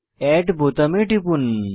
add বোতামে টিপুন